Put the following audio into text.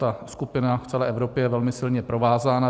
Ta skupina v celé Evropě je velmi silně provázána.